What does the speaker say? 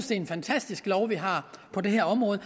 det en fantastisk lov vi har på det her område